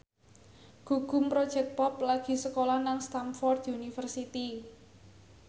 Gugum Project Pop lagi sekolah nang Stamford University